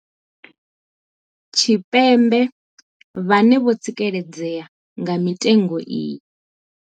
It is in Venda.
Tshipembe vhane vho tsikeledzea nga mitengo iyi.